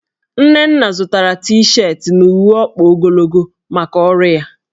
Nnenna zụtara T-shetị na uwe ọkpa ogologo maka ọrụ ya.